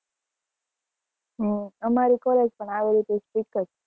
હમ અમારી college પણ આવી રીતે strict જ